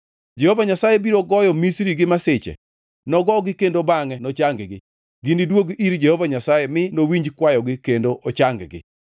Jehova Nyasaye biro goyo Misri gi masiche, nogogi kendo bangʼe nochang-gi. Giniduogi ir Jehova Nyasaye, mi nowinj kwayogi kendo ochang-gi.